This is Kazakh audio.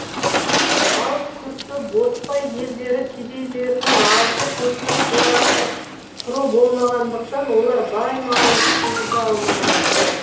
ал күрті ботпай елдері кедейлерінің азды көпті қорасы құры болмағандықтан олар бай малын сыйғыза алмады